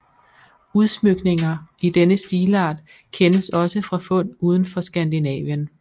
Udsmykninger i denne stilart kendes også fra fund udenfor Skandinavien